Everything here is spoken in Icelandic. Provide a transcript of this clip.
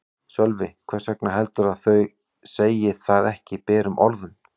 Sölvi: Hvers vegna heldurðu að þau segi það ekki berum orðum?